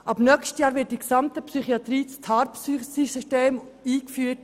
Ab nächstem Jahr wird in der gesamten Psychiatrie das TARPSY-Tarifsystem eingeführt.